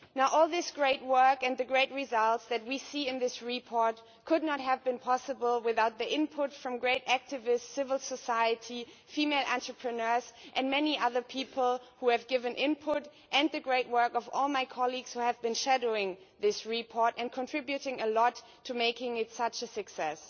All this great work and the great results that we see in this report could not have been possible without input from great activists, civil society, female entrepreneurs and many other people who have given input, and the great work of all my colleagues who have shadowed this report and contributed a lot to making it such a success.